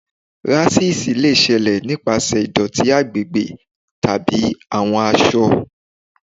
Ráṣísì lè ṣẹlẹ nípasẹ̀ ìdótí agbègbè tàbí àwọn aṣọ.